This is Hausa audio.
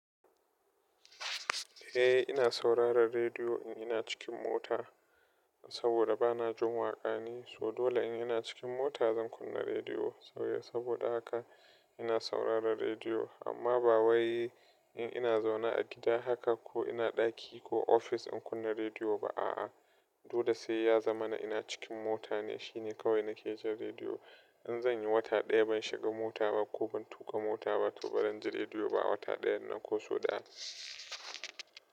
Eh ina sauraron rediyo in ina cikin mota, saboda ba na jin waƙa ne, so dole in ina cikin mota zan kunna rediyo. Sauya saboda haka ina sauraron rediyo. Amma ba wai in ina zaune a gida haka ko ina ɗaki ko ofis in kunna rediyo ba, a'a. Dole sai ya zama na ina cikin mota ne shine kawai na ke ji rediyo. In zan yi wata ɗaya ban shiga mota ba ko ban tuƙa mota ba to ba zan ji rediyo ba, wata ɗayan nan ko sau ɗaya.